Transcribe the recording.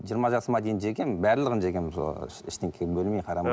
жиырма жасыма дейін жегенмін барлығын жегенмін сол ештеңені бөлмей қарамай